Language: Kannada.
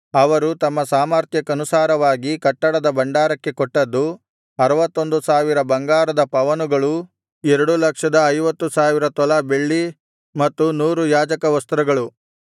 ಅವರು ತಮ್ಮ ಸಾಮರ್ಥ್ಯಕ್ಕನುಸಾರವಾಗಿ ಕಟ್ಟಡದ ಭಂಡಾರಕ್ಕೆ ಕೊಟ್ಟದ್ದು ಅರುವತ್ತೊಂದು ಸಾವಿರ ಬಂಗಾರದ ಪವನುಗಳು ಎರಡು ಲಕ್ಷದ ಐವತ್ತು ಸಾವಿರ ತೊಲಾ ಬೆಳ್ಳಿ ಮತ್ತು ನೂರು ಯಾಜಕವಸ್ತ್ರಗಳು